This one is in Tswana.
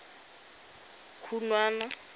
khunwana